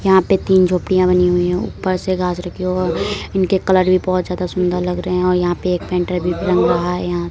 यहाँ पे तीन झोपड़ियाॅं बनी हुई हैं ऊपर से और इनके कलर भी बोहोत ज्यादा सुंदर लग रहे है और यहाँ पे एक पेंटर भी यहाॅं --